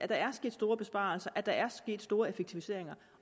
der er sket store besparelser og der er sket store effektiviseringer